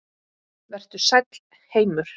Vertu sæll, heimur.